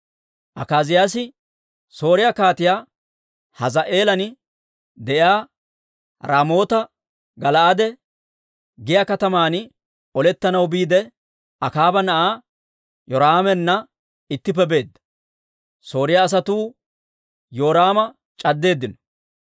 Akaaziyaasi Sooriyaa Kaatiyaa Hazaa'eelan de'iyaa Raamoota-Gala'aade giyaa kataman olettanaw biidde, Akaaba na'aa Yoraamana ittippe beedda. Sooriyaa asatuu Yoraama c'addeeddino.